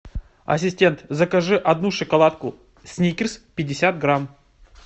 ассистент закажи одну шоколадку сникерс пятьдесят грамм